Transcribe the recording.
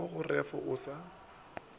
mo go ref o sa